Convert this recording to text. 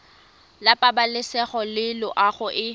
la pabalesego le loago e